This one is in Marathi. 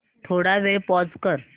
थोडा वेळ पॉझ कर